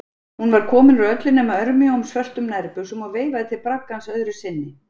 Hún var komin úr öllu nema örmjóum, svörtum nærbuxum og veifaði til braggans öðru sinni.